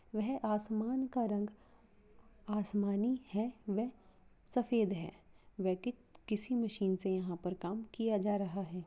वह आसमान का रंग आसमानी है वह सफेद है वह किसी मशीन से यहाँ पे काम किया जा रहा है।